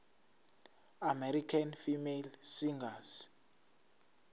american female singers